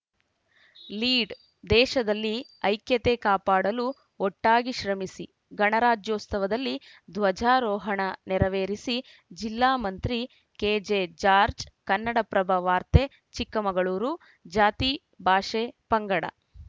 lead ದೇಶದಲ್ಲಿ ಐಕ್ಯತೆ ಕಾಪಾಡಲು ಒಟ್ಟಾಗಿ ಶ್ರಮಿಸಿ ಗಣರಾಜ್ಯೋತ್ಸವದಲ್ಲಿ ಧ್ವಜಾರೋಹಣ ನೆರವೇರಿಸಿ ಜಿಲ್ಲಾ ಮಂತ್ರಿ ಕೆಜೆಜಾರ್ಜ್ ಕನ್ನಡಪ್ರಭ ವಾರ್ತೆ ಚಿಕ್ಕಮಗಳೂರು ಜಾತಿ ಭಾಷೆ ಪಂಗಡ